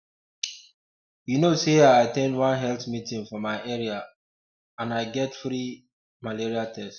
you know say i at ten d one health meeting for my area um and i get free um malaria test